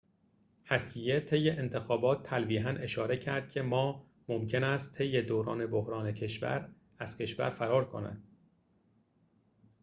هسیه طی انتخابات تلویحاً اشاره کرد که ما ممکن است طی دوران بحران از کشور فرار کند